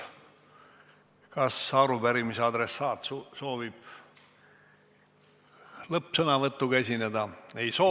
Kas arupärimise adressaat soovib lõppsõnavõtuga esineda?